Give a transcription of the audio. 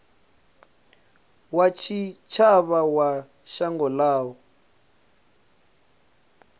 wa tshitshavha wa shango ḽavho